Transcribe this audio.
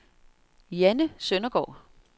Janne Søndergaard